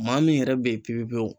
Maa min yɛrɛ be ye pepe pewu